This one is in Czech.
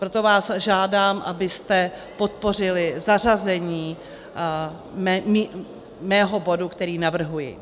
Proto vás žádám, abyste podpořili zařazení mého bodu, který navrhuji.